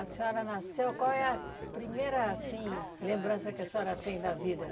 A senhora nasceu, qual é a primeira assim lembrança que a senhora tem da vida?